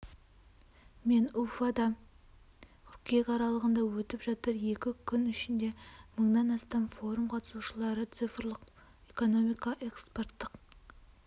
мен уфада қыркүйек аралығында өтіп жатыр екі күн ішінде мыңнан астам форум қатысушылары цифрлық экономика экспорттық